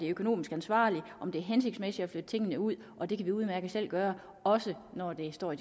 økonomisk ansvarligt om det er hensigtsmæssigt at flytte tingene ud og det kan vi udmærket selv gøre også når